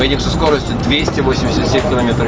со скоростью км